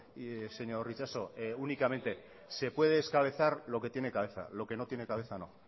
y señor itxaso únicamente se puede descabezar lo que tiene cabeza lo que no tiene cabeza no